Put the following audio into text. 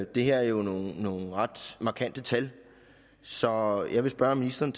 det her er jo nogle nogle ret markante tal så jeg vil spørge ministeren